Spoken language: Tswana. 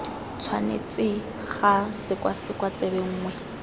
tshwanetse ga sekwasekwa tsebe nngwe